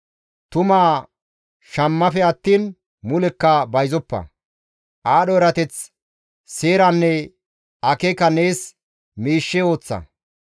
Tumaa shammafe attiin mulekka bayzoppa; aadho erateth, seeranne akeeka nees miishshe ooththa.